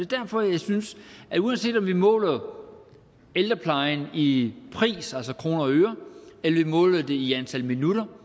derfor jeg synes at uanset om vi måler ældreplejen i pris altså kroner og øre eller måler den i antal minutter